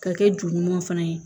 Ka kɛ ju ɲuman fana ye